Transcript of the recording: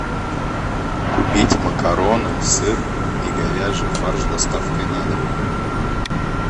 купить макароны сыр и говяжий фарш с доставкой на дом